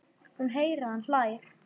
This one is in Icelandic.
Hún heyrir að hann hlær.